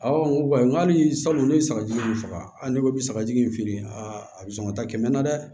Awɔ n ko n ko halisa n ko ne ye sagajugu in faga ne ko bi saka jigi in feere a bi sɔn ka taa kɛmɛ na dɛ